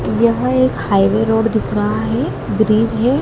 यह एक highway road दिख रहा है ब्रिज है।